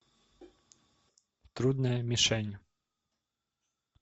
трудная мишень